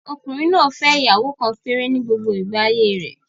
Ọkùnrin náà fẹ́ ìyàwó kan péré ni gbogbo igba ayé rẹ̀